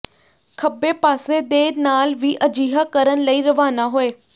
ਖੱਬੇ ਪਾਸੇ ਦੇ ਨਾਲ ਵੀ ਅਜਿਹਾ ਕਰਨ ਲਈ ਰਵਾਨਾ ਹੋਏ